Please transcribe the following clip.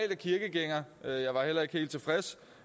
er kirkegænger jeg var heller ikke helt tilfreds